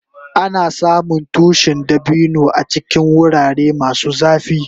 Ana samun tushin dabino a cikin wurare masu zafi.